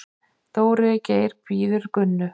Dóri Geir bíður Gunnu.